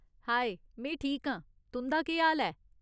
हाए, में ठीक आं। तुं'दा केह् हाल ऐ?